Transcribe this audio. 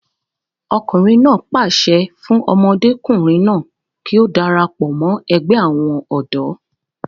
ọkùnrin náà pàṣẹ fún ọmọdékùnrin náà kí ó darapọ̀ mọ́ ẹgbẹ́ àwọn ọ̀dọ́